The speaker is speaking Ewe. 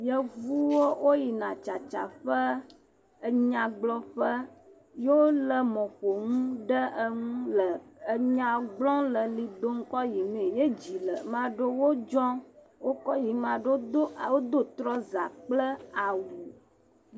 Yevuwo wo yina tsata ƒe. enyagblɔƒe. ye wo le mɔƒonu ɖe enu le enya gblɔm le eʋli dom kɔ yi mee. Ye dzi le ame aɖewo dzɔm wo kɔ yim. Ma ɖewo do trɔsa kple awu.